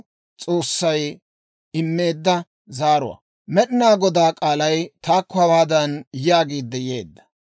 Med'inaa Godaa k'aalay taakko hawaadan yaagiidde yeedda;